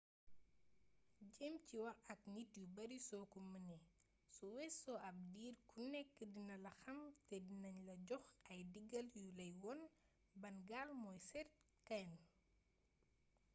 jéem ci wax ak nit yu bari soo ko mënee su weesoo ab diir ku nekk dina la xàm te dinagne la jox ay digal yu lay won ban gaal mooy seet kenn